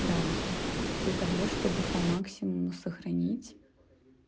градусов для того чтобы по максимуму сохранить